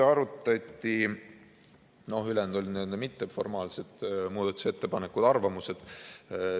Ülejäänud olid n-ö mitteformaalsed muudatusettepanekud, arvamused.